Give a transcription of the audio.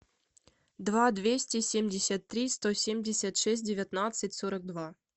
два двести семьдесят три сто семьдесят шесть девятнадцать сорок два